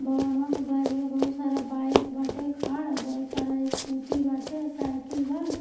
भवनवा के बहरिया बहुत सारा बाइक बाटे खाड़ बहुत सारा स्कूटी बाटे साइकिल बा।